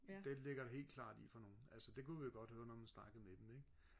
det ligger det helt klart i for nogen altså det kunne vi godt høre når man snakkede med dem ikke